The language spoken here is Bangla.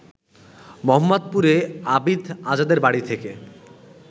মোহাম্মদপুরে আবিদ আজাদের বাড়ি থেকে